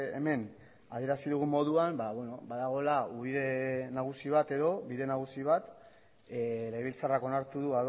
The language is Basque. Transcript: hemen adierazi dugun moduan badagoela ubide nagusi bat edo bide nagusi bat legebiltzarrak onartu du